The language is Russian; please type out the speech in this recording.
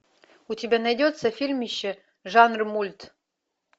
у тебя найдется фильмище жанр мульт